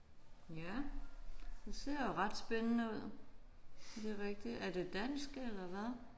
Ja det ser jo ret spændende ud. Er det rigtig er det dansk eller hvad?